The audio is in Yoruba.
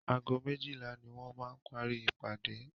Ago méjílà ní wọ́n máa parí ìpàdé.